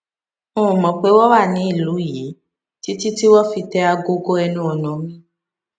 n ò mò pé wón wà ní ìlú yìí títí tí wón fi tẹ agogo ẹnu ọnà mi